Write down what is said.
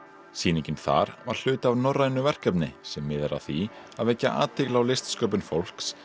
sýningin þar var hluti af norrænu verkefni sem miðar að því að vekja athygli á listsköpun fólks